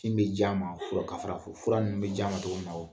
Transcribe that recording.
Min bɛ ji a ma fura ka fura fo fura ninnu bɛ ji a ma cogo min na